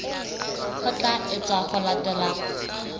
ho tla etswa ho latela